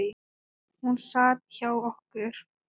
Hún sat hjá okkur